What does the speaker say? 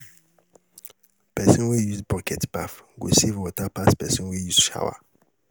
person wey use bucket baff go save water pass pesin wey use shower